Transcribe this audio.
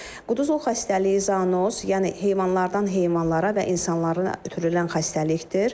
Quduzluq xəstəliyi zoonoz, yəni heyvanlardan heyvanlara və insanlara ötürülən xəstəlikdir.